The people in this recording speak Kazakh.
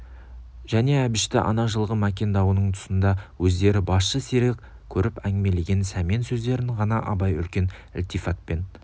және әбішті ана жылғы мәкен дауының тұсында өздеріне басшы серік көріп әңгімелеген сәмен сөздерін ғана абай үлкен ілтифатпен